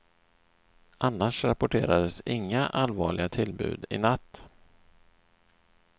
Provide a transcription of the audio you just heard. Annars rapporterades inga allvarliga tillbud i natt.